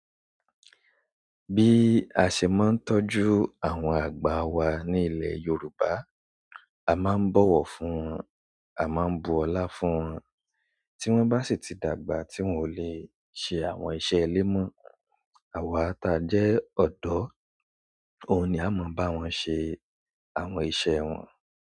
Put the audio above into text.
Bí a ṣe máa ń tọ́jú àwọn àgbà wa ní ilẹ̀ Yorùbá, a máa ń bọ̀wọ̀ fún wọn, a máa ń bu ọlá fún wọn, tí wọ́n bá sì ti dàgbà tí wọ́n ò lè ṣe àwọn iṣẹ́ ile mo, àwa ti a jẹ́ ọ̀dọ́, òun ni a máa ń bá wọn ṣe àwọn iṣẹ́ wọn.